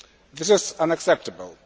This is unacceptable.